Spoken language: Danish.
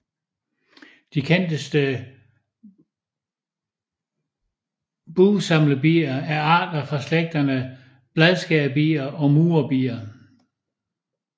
De kendteste bugsamlerbier er arter fra slægterne bladskærerbier og murerbier